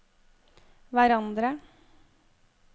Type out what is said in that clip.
hverandre